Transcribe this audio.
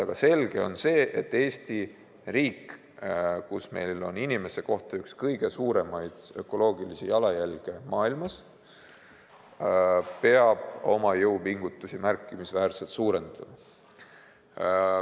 Aga selge on see, et Eesti riik – meil on inimese kohta üks kõige suuremaid ökoloogilisi jalajälgi maailmas – peab oma jõupingutusi märkimisväärselt suurendama.